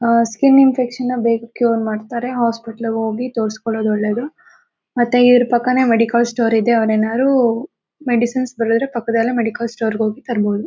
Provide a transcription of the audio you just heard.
ಅಹ್ skin infection ಬೇಗ್ cure ಮಾಡ್ತಾರೆ hospital ಹೋಗಿ ತೋರಿಸ್ಕೊದು ಒಳ್ಳೇದು ಮತ್ತೆ ಇವ್ರು ಪಕ್ಕನೆ ಮೆಡಿಕಲ್ ಸ್ಟೋರ್ ಇದೆ ಅವರು ಏನಾದ್ರು ಮೆಡಿಸಿನ್ಸ್ ಬರೆದರೆ ಪಕ್ಕದಲೇ ಮೆಡಿಕಲ್ ಸ್ಟೋರ್ ಹೋಗಿ ತರ್ಬಹುದು